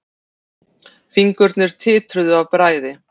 Fingurnir titruðu af bræði.